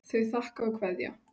Þau þakka og kveðja.